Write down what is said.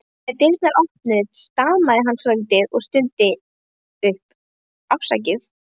Þegar dyrnar opnuðust stamaði hann svolítið og stundi upp: Afsakið